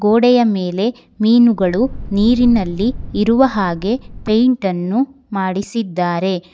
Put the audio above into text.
ಗೋಡೆಯ ಮೇಲೆ ಮೀನುಗಳು ನೀರಿನಲ್ಲಿ ಇರುವ ಹಾಗೆ ಫೈಟ್ ಅನ್ನು ಮಾಡಿಸಿದ್ದಾರೆ.